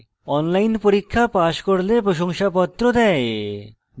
online পরীক্ষা pass করলে প্রশংসাপত্র দেয়